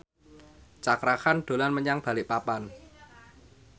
Cakra Khan dolan menyang Balikpapan